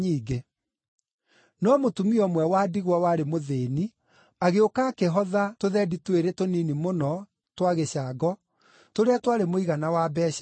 No mũtumia ũmwe wa ndigwa warĩ mũthĩĩni agĩũka akĩhotha tũthendi twĩrĩ tũnini mũno twa gĩcango tũrĩa twarĩ mũigana wa mbeeca ĩmwe.